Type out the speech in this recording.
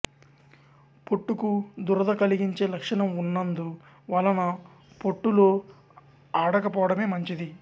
పొట్టుకు దురద కలిగించే లక్షణం ఉన్నందు వలన పొట్టులో ఆడకపోవడమే మంచిది